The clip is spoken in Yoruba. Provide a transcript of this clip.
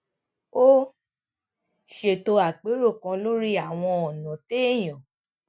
ó ṣètò apero kan lórí àwọn ònà téèyàn